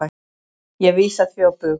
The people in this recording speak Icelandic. Ég vísa því á bug.